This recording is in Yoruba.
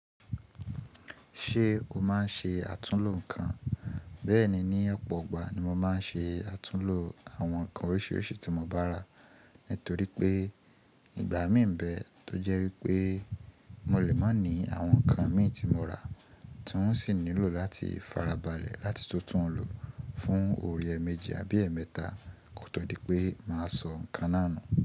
Ṣé o máa ń ṣe àtúnlo nǹkan? Bẹ́ẹ̀ni, ní ọ̀pọ̀ igbà ni mo máa ń ṣe àtúnlo àwọn nǹkan oríṣiríṣi tí mo bá rà. Nítorí pé ìgbà mí ń bẹ tó jẹ́ wípé mo lè má ní àwọn nǹkan mi tí mo rà tí wọ́n sì nílò láti farabalẹ̀ láti tún tún un lò fún oore méje àbí ẹ́ẹ̀mẹ́ta kò tó dí pé màá sọ nǹkan náà nu.